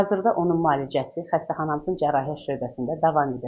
Hazırda onun müalicəsi xəstəxanamızın cərrahiyyə şöbəsində davam edir.